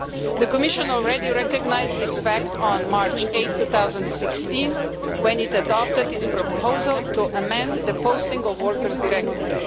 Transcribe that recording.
The Commission already recognised this fact on 8 March 2016 when it adopted its proposal to amend the Posting of Workers Directive.